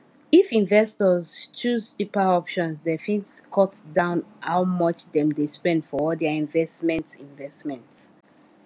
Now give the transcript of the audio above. if investors choose cheaper options dem fit cut down how much dem dey spend for all their investments investments